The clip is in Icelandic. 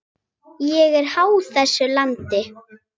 Ég er háð þessu landi.